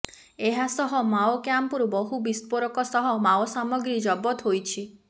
ଏହାସହ ମାଓ କ୍ୟାମ୍ପରୁ ବହୁ ବିସ୍ଫୋରକ ସହ ମାଓସାମଗ୍ରୀ ଜବତ ହୋଇଛି